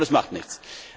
Aber das macht nichts.